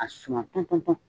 A suma tɔn tɔn tɔn.